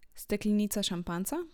Steklenica šampanjca?